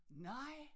Nej!